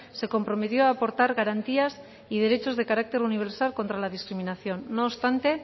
se comprometió a aportar garantías y derechos de carácter universal contra la discriminación no obstante